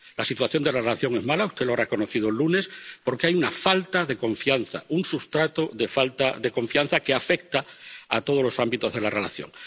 La situación de la relación es mala —usted lo ha reconocido el lunes— porque hay una falta de confianza, un sustrato de falta de confianza que afecta a todos los ámbitos de la relación.